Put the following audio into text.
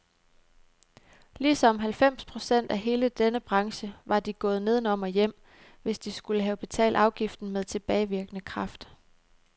Ligesom halvfems procent af hele denne branche var de gået nedenom og hjem, hvis de skulle have betalt afgiften med tilbagevirkende kraft.